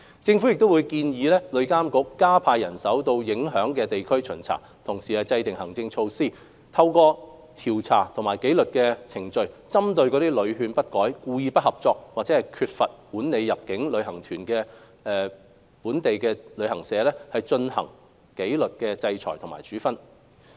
政府亦會建議旅監局加派人員到受影響地區巡查，同時制訂行政措施，透過調查及紀律程序，針對屢勸不改、故意不合作及缺乏管理入境旅行團到訪店鋪安排的本地接待旅行代理商或店鋪，進行紀律制裁等處分。